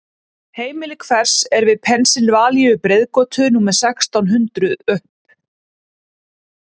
Heimili hvers er við Pennsylvaníu-breiðgötu númer sextán hundrup?